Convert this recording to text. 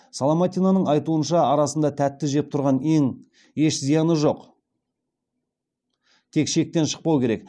соломатинаның айтуынша арасында тәтті жеп тұрғаның еш зияны жоқ тек шектен шықпау керек